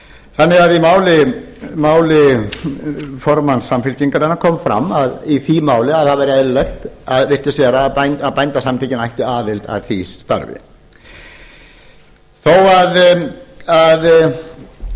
þannig að í máli formann samfylkingarinnar kom fram í því máli að það væri eðlilegt virtist vera að bændasamtökin ættu aðild að því starfi þó að